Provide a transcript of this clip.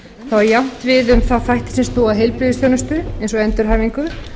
það á jafnt við um þá þætti stoð og heilbrigðisþjónustu eins og endurhæfingu